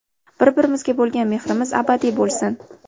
Bir-birimizga bo‘lgan mehrimiz abadiy bo‘lsin!